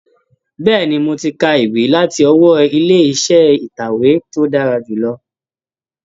Bẹ́ẹ̀ni, mo ti ka ìwé láti ọwọ́ ilé iṣẹ́ ìtẹ̀wé tí ó dára jù lọ?